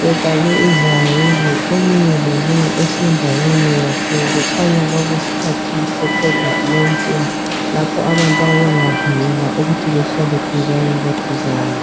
befake izayeke omunye lomunye esendaweni yakhe kukhanya kwakuyisikhathi eseCovid 19 lapho abantu ababengavunyelwa ukuthi bahlale duzane laduzane